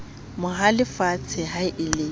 mo halefetse ha e le